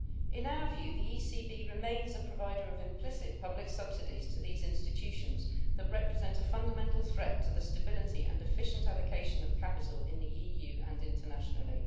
In our view, the ECB remains a provider of implicit public subsidies to these institutions that represent a fundamental threat to the stability and efficient allocation of capital in the EU and internationally.